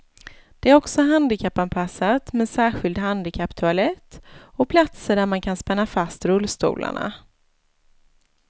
Det är också handikappanpassat med särskild handikapptoalett och platser där man kan spänna fast rullstolarna.